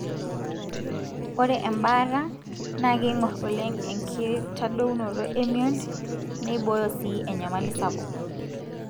ore embaata na kingorr oleng enkitadounoto emion, neiboyo sii enyamali sapuk.